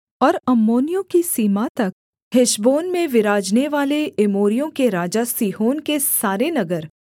और अम्मोनियों की सीमा तक हेशबोन में विराजनेवाले एमोरियों के राजा सीहोन के सारे नगर